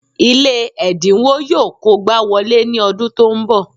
Ilé ẹ̀dínwó yọ kógbá wọlé ní ọdún tó ń bọ̀